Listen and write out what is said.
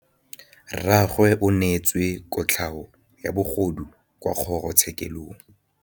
Rragwe o neetswe kotlhaô ya bogodu kwa kgoro tshêkêlông.